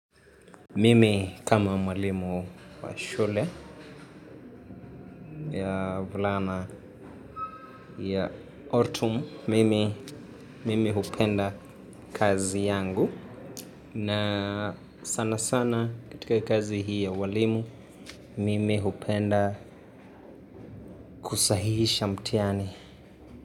Mimi kama mwalimu wa shule ya wavulana ya ortum mimi hupenda kazi yangu na sanasana katika kazi hii ya ualimu mimi hupenda kusahihisha mtihani.